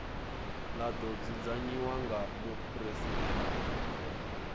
ḽa ḓo dzudzanyiwa nga muphuresidennde